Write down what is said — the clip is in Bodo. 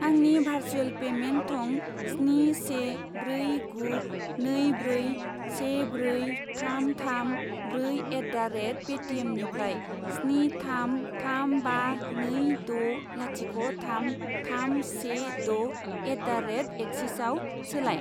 आंनि भारसुएल पेमेन्ट थं स्नि से ब्रै गु नै ब्रै से ब्रै थाम थाम ब्रै एट दा रेट पे टिएमनिफ्राय स्नि थाम थाम बा नै द' लाथिख' थाम थाम से द' एट दा रेट एक्सिसआव सोलाय।